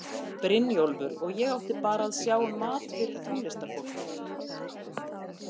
Brynjólfur og ég átti bara að sjá um mat fyrir tónlistarfólkið.